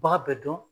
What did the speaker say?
B'a bɛɛ dɔn